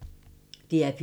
DR P2